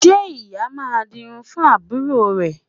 Ṣé ìyá máa dirun fún àbúrò rẹ̀?